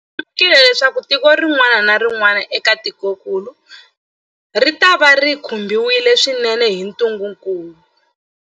Hi lemukile leswaku tiko rin'wana na rin'wana eka tikokulu ritava ri khumbiwile swinene hi ntungukulu.